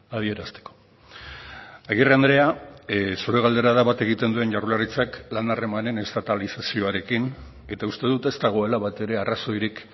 adierazteko agirre andrea zure galdera da bat egiten duen jaurlaritzak lan harremanen estatalizazioarekin eta uste dut ez dagoela batere arrazoirik